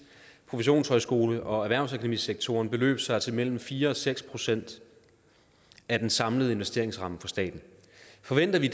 professionshøjskole og erhvervsakademisektoren beløber sig til mellem fire og seks procent af den samlede investeringsramme for staten forventer vi